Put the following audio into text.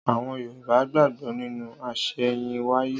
Àwọn Yorùbá gbàgbó nínú àsẹ̀yìnwáyé